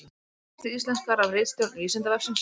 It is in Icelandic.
Texti íslenskaður af ritstjórn Vísindavefsins.